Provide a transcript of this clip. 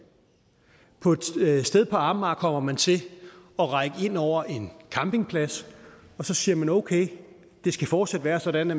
et sted på amager kommer man til at række ind over en campingplads og så siger man okay det skal fortsat være sådan at